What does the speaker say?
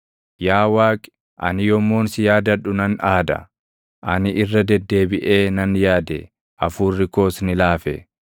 Yaa Waaqi, ani yommuun si yaadadhu nan aada; ani irra deddeebiʼee nan yaade; hafuurri koos ni laafe.